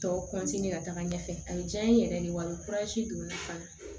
Tɔw ka taga ɲɛfɛ a ye diya n ye yɛrɛ de wa ni don n na fana